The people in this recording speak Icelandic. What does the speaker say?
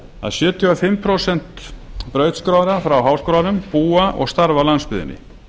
að sjötíu og fimm prósent brautskráðra frá háskólanum búa og starfa á landsbyggðinni